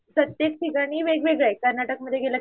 प्रत्येक ठिकाणी वेगवेगळं आहे कर्नाटकमध्ये गेलं की